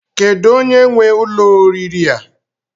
Kedụ onye nwe ụlọ oriri a?